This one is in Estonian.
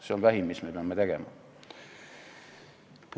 See on vähim, mida me peame tegema.